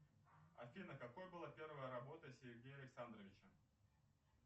афина какой была первая работа сергея александровича